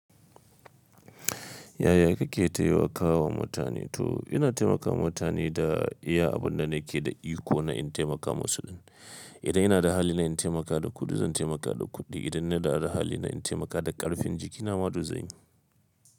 Yaya kike taiwakawa mutane? To ina taimakawa mutane da iya abunda nake da iko na in taimakawa su. Idan ina da hali na in taimaka da kuɗi zan taimaka da kuɗi, idan ina da hali na in taimakawa da ƙarfin jikina ma duk zanyi.